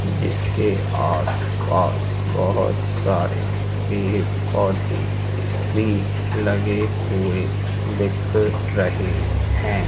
जिसके आस पास बहुत सारे पेड़ पौधे भी लगे हुए दिख रहे हैं।